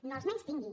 no els menystingui